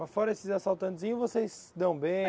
Mas fora esses assaltantezinhos, vocês se dão bem?